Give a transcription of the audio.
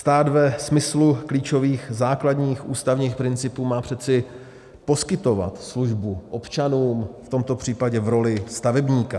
Stát ve smyslu klíčových základních ústavních principů má přece poskytovat službu občanům, v tomto případě v roli stavebníka.